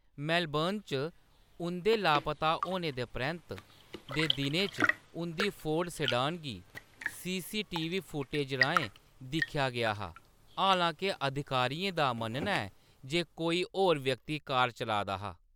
Melbourne च उंʼदे लापता होने दे परैंत्त दे दिनें च उंʼदी फ़ोर्ड सेडान गी सीसीटीवी फुटेज राहें दिक्खेआ गेआ हा, हालांके अधिकारियें दा मन्नना ​​​​ऐ जे कोई होर व्यक्ति कार चला दा हा।